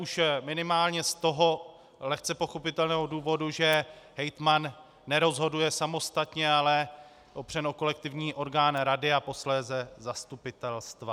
Už minimálně z toho lehce pochopitelného důvodu, že hejtman nerozhoduje samostatně, ale opřen o kolektivní orgán rady a posléze zastupitelstva.